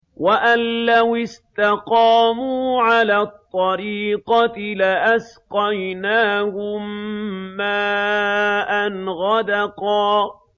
وَأَن لَّوِ اسْتَقَامُوا عَلَى الطَّرِيقَةِ لَأَسْقَيْنَاهُم مَّاءً غَدَقًا